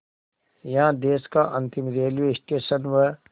यहाँ देश का अंतिम रेलवे स्टेशन व